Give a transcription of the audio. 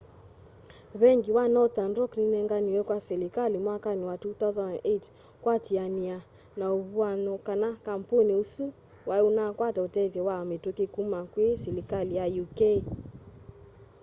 vengi wa nothern rock ninenganiwe kwa silikali mwakani wa 2008 kuatiania na uvuany'o kana kampuni usu wai unakwata utethyo wa mituki kuma kwi silikali ya uk